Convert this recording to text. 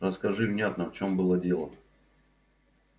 расскажи внятно в чём было дело